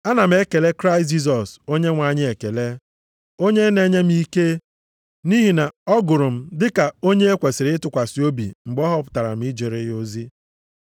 Ana m ekele Kraịst Jisọs Onyenwe anyị ekele, onye na-enye m ike, nʼihi na ọ gụrụ m dị ka onye e kwesiri ịtụkwasị obi mgbe ọ họpụtara m ijere ya ozi.